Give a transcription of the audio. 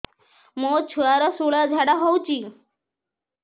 ମୋ ଛୁଆର ସୁଳା ଝାଡ଼ା ହଉଚି